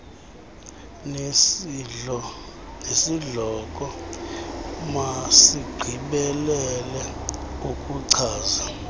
nesihloko masigqibelele ukuchaza